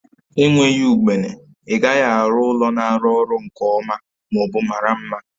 Enweghị ugbene, ị gaghị arụ ụlọ na-arụ ọrụ nke ọma ma ọ bụ mara mma